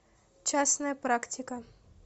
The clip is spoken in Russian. частная практика